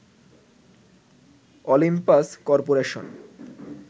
Olympus corporation